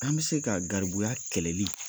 An bɛ se ka garibuya kɛlɛli